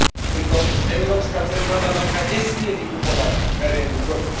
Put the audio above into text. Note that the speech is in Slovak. Pritom Európska centrálna banka nesmie vykupovať verejný dlh.